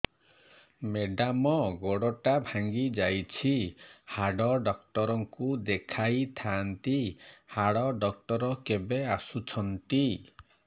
madam ଗୋଡ ଟା ଭାଙ୍ଗି ଯାଇଛି ହାଡ ଡକ୍ଟର ଙ୍କୁ ଦେଖାଇ ଥାଆନ୍ତି ହାଡ ଡକ୍ଟର କେବେ ଆସୁଛନ୍ତି